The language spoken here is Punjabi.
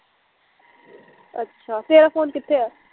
ਅੱਛਾ ਤੇਰਾ ਫ਼ੋਨ ਕਿੱਥੇ ਐ